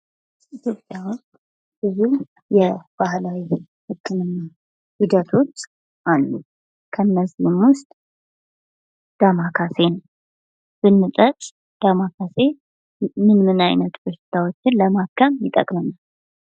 ኢትዮጵያ ብዙ የባህላዊ ህክምና ሂደቶች አሉን ። እነዚህም ውስጥ ዳማከሴን ብንጠቅስ ዳማከሴ ምን ምን አይነት በሽታዎችን ለማከም ይጠቅመናል ?